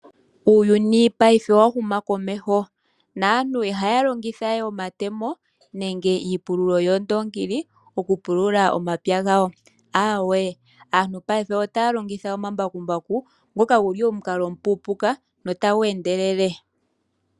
Uuyuni ngashingeyi owa huma komeho naantu ihaya longitha we omatemo nenge iipululo yoondoongi okupulula omapya gawo. Aawe aantu ngashingeyi otaya longitha omambakumbaku ngoka guli omukalo omupuupuka notagu endelele.